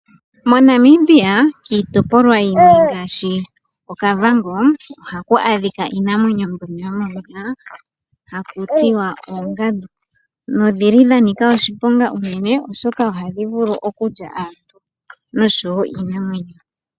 MoNamibia kiitopolwa yimwe ngashi oKavango ohaku adhika iinamwenyo mbyono yomomeya haku tiwa oongandu, nodhili dha nika oshiponga unene oshoka ohadhi vulu okulya aantu noshowo iinamwenyo.